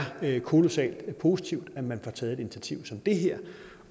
kolossalt positivt at man får taget et initiativ som det her